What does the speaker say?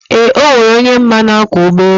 eee, ọ nwere onye m ma na-akwọ ụgbọelu.